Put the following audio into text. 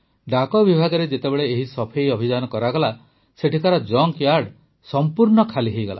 ଡାକ ବିଭାଗରେ ଯେତେବେଳେ ଏହି ସଫେଇ ଅଭିଯାନ କରାଗଲା ସେଠିକାର ଜଙ୍କ୍ୟାର୍ଡ ସମ୍ପୂର୍ଣ୍ଣ ଖାଲି ହୋଇଗଲା